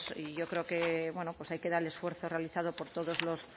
y yo creo que bueno pues hay queda el esfuerzo realizado por todos